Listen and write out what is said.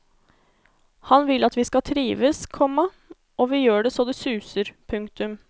Han vil at vi skal trives, komma og vi gjør det så det suser. punktum